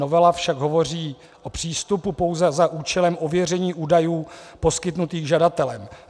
Novela však hovoří o přístupu pouze za účelem ověření údajů poskytnutých žadatelem.